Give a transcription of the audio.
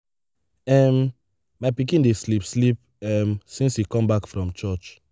um my pikin dey sleep sleep um since he come back from church.